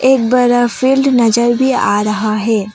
एक बड़ा फील्ड नज़र भी आ रहा है।